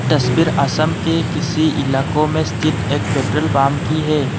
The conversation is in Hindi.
तस्वीर असम के किसी इलाकों में स्थित एक पेट्रोल पंप की है।